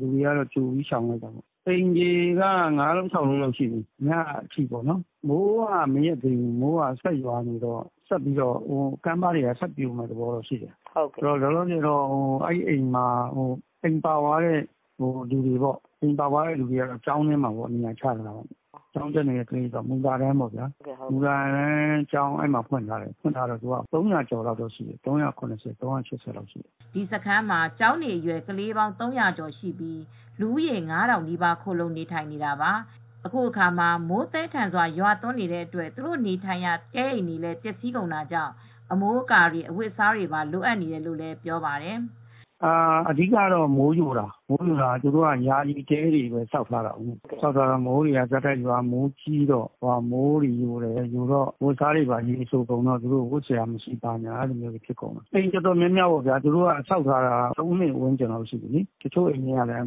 လူတွေကကြိုပြီး ရှောင်ထားလို့ပါ ။ အိမ်တွေက ၅လုံး ၆လုံးလောက်တော့ပါသွားပြီး မိုးကတော့ မရပ်သေးဘူး ဆက်ပြီးရွာနေသေးတော့ နောက်ထပ်ကမ်းပါးတွေလည်းထပ်ပြိုမယ့်သဘောတော့ရှိတယ်၊ လောလောဆယ် အိမ်တွေပါသွားတဲ့သူတွေကတော့ကျောင်းထဲမှာနေရာချထားတယ် ၊ အဲဒီတော့ ကျောင်းတက်နေတဲ့ ကလေးတွေ မူလတန်းကျောင်းဖွင့်ထားတယ် အဲဒီမှာ လူဦးရေ ၃၀၀ ကျော် ၃၇၀ ၃၈၀လောက်ထိ ရှိတယ်" ဒီစခန်းမှာကျောင်းနေအရွယ် ကလေး ၃၀၀ကျော်ရှိပြီး လူဦးရေ ၅ထောင်နီးပါးခိုလှုံနေတာပါ။ အခုအခါမှာ မိုးသည်းထန်စွာရွာတဲ့အတွက်သူတို့နေထိုင်ရာ တဲအိမ်တွေလည်း ပျက်စီးကုန်တာကြောင့် အမိုးအကာတွေအဝတ်အစားတွေပါ လိုအပ်နေတယ်လို့လည်းပြောပါတယ်။ "အဓိကတော့ မိုးအရမ်းရွာတော့ မိုးယိုတာ သူတို့က ယာယီတဲတွေပဲဆောက်ထားတာဆိုတော့ မိုးတွေက ဆက်တိုက်ရွာတော့မိုးတွေယိုတယ် အဝတ်အစားတွေက စိုကုန်တော့ ဝတ်စရာမရှိဘူး ဖြစ်နေတယ် အိမ်အတော်များများက ဆောက်ထားတာ ၃နှစ်ဝန်းကျင်ရှိပြီ တချို့အိမ်တွေက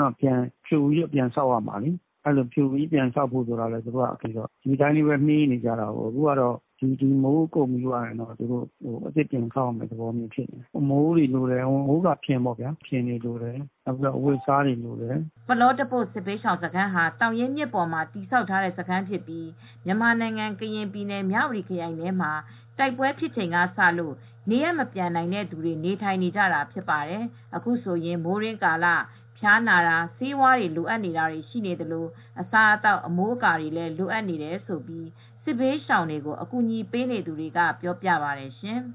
တော့ဖြိုပြီး ဆောက်ရမှာ ဒီနှစ်ကုန်ရင်တော့ဆောက်မှ ရတော့မယ်။ အခုကတော့အမိုးတွေလိုတယ်၊ မိုးကာဖျင်တွေ၊ အဝတ်၊ အစားအသောက်တွေလိုပါတယ်" ပလောတပို့စစ်ဘေးရှောင်စခန်းဟာ သောင်ရင်းမြစ်ပေါ်မှာ တည်ဆောက်ထားတဲ့စခန်းဖြစ်ပြီး မြန်မာနိုင်ငံကရင်ပြည်နယ်မြ၀တီခရိုင်ထဲမှာတိုက်ပွဲဖြစ်ချိန်ကစလို့ နေရပ်မပြန်နိုင်တဲ့သူတွေ နေထိုင်နေကြတာဖြစ်ပါတယ်။ အခုဆိုရင် မိုးတွင်းကာလဖျားနာတာ ဆေးဝါးလိုအပ်နေတာတွေရှိနေသလို အစားအသောက်အမိုးအကာတွေလည်းလိုအပ်နေတယ်လို့ စစ်ဘေးရှောင်တွေကိုအကူညီပေးနေသူတွေကပြောပါတယ်ရှင်။